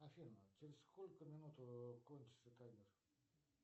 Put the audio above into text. афина через сколько минут кончится таймер